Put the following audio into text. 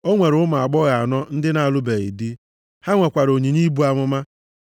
O nwere ụmụ agbọghọ anọ ndị na-alụbeghị di. Ha nwekwara onyinye ibu amụma.